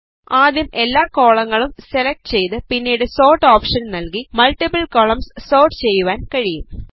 ആദ്യം എല്ലാ കോളങ്ങളും സെലക്ട് ചെയ്ത് പിന്നീട് സോർട്ട് ഓപ്ഷൻ നല്കി മൾട്ടിപ്പിൾ കോളംസ് സോർട്ട് ചെയ്യുവാൻ കഴിയും